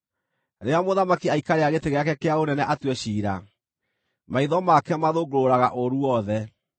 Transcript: Rĩrĩa mũthamaki aikarĩra gĩtĩ gĩake kĩa ũnene atue ciira, maitho make mathũngũrũraga ũũru wothe.